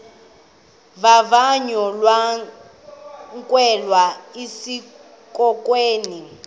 vavanyo lokwamkelwa esikolweni